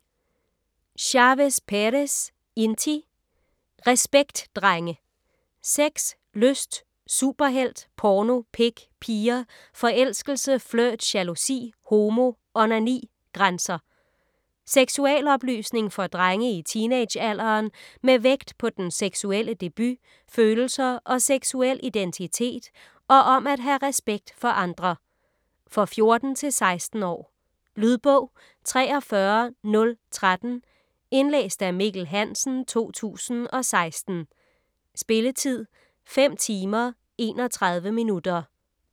Chavez Perez, Inti: Respekt drenge!: sex, lyst, superhelt, porno, pik, piger, forelskelse, flirt, jalousi, homo, onani, grænser Seksualoplysning for drenge i teenagealderen med vægt på den seksuelle debut, følelser og seksuel identitet, og om at have respekt for andre. For 14-16 år. Lydbog 43013 Indlæst af Mikkel Hansen, 2016. Spilletid: 5 timer, 31 minutter.